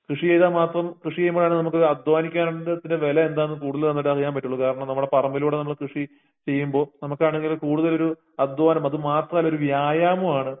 കൃഷി ചെയ്താമാത്രം കൃഷിചെയ്യുമ്പോതന്നെത് നമുക്ക് അദ്ധ്വാനിക്കേണ്ടതിൻ്റെ വെലയെന്താന്ന് കൂടുത്തലുനന്നായിട്ടറിയാൻപറ്റൂളളൂ കാരണംനമ്മടെ പറമ്പിലൂടെ നമ്മള് കൃഷി ചെയുമ്പോ നമുക്കാണെങ്കിലും കൂടുതലൊര് അദ്ധ്വാനം അതമാത്രല്ലൊര് വ്യായാമവാണ്